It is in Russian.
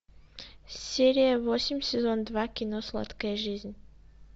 серия восемь сезон два кино сладкая жизнь